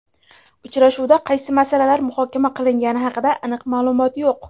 Uchrashuvda qaysi masalalar muhokama qilingani haqida aniq ma’lumot yo‘q.